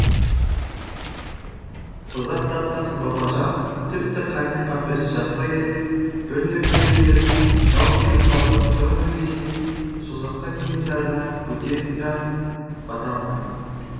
созақ датқасы бабажан тіпті қаннен қаперсіз жатса керек бір нөкері келіп жау келіп қалды тұрыңыз десе созаққа кенесарыдан бөтен жан бата алмайды